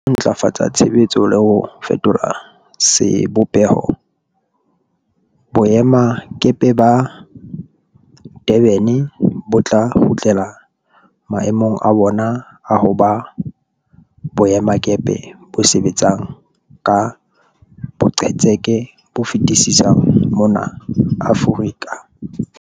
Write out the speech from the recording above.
Ka ho ntlafatsa tshebetso le ho fetola sebopeho, boemakepe ba Durban bo tla kgutlela mae mong a bona a ho ba boemakepe bo sebetsang ka boqetseke bo fetisisang mona Aforika.